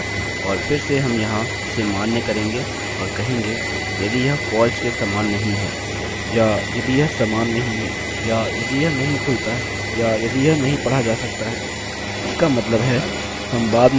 और फिरसे हम यहाँ इसे मान्य करेंगे और कहेंगे यदि यह false के समान नहीं है या यदि यह समान नहीं है या यदि यह नहीं खुलता है या यदि यह नहीं पढ़ा जा सकता है इसका मतलब है हम बाद में कुछ एरर्स रन कर सकते हैं